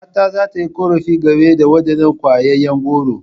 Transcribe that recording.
Kakata za ta yi korafi game da wadannan kwayayen goro.